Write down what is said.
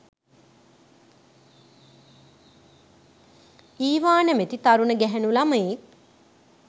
ඊවා නැමති තරුණ ගැහැනු ලමයෙක්